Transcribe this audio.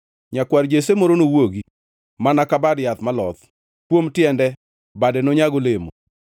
Nyakwar Jesse moro nowuogi mana ka bad yath maloth; Kuom tiende, Bade nonyag olemo.